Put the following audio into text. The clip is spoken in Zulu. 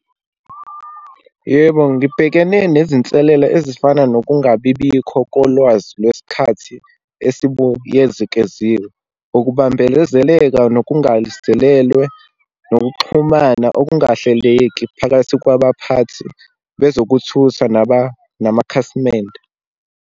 Yebo, ngibhekene nezinselela ezifana nokungabibikho kolwazi lwesikhathi esibuyezekeziwe. Ukubambelezeleka nokungazelelwe, nokuxhumana okungahleleki phakathi kwabaphathi bezokuthutha namakhasimende.